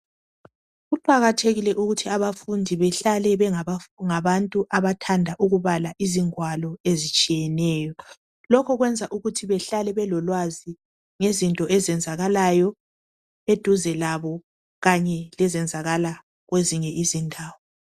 kuqakathekile ukuthi abafundi behlale bengabantu abathnda ukubala izingwalo ezitshiyeneyo lokho kwenza ukuthi behlala belolwazi ngezinto eziyenzakala eduze labo kanye lezenzakala kwezinye izindawo.